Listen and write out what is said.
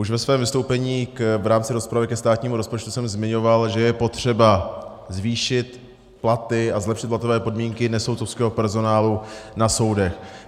Už ve svém vystoupení v rámci rozpravy ke státnímu rozpočtu jsem zmiňoval, že je potřeba zvýšit platy a zlepšit platové podmínky nesoudcovského personálu na soudech.